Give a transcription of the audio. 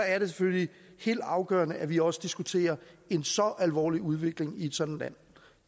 er det selvfølgelig helt afgørende at vi også diskuterer en så alvorlig udvikling i et sådant land